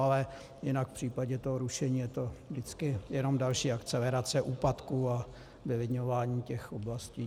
Ale jinak v případě toho rušení je to vždycky jenom další akcelerace úpadku a vylidňování těch oblastí.